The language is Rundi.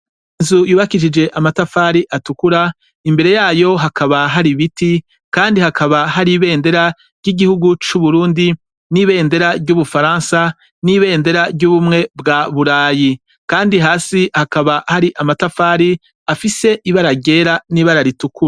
inzu yubakishije amatafari atukura imbere yayo hakaba hari biti kandi hakaba hari ibendera ry’iguhugu cu Burundi ni ibendera ry ubufaransa ni bendera ry'ubumwe bwa Burayi .kandi hasi hakaba hari amatafari afise ibara ryera niribara ritukura.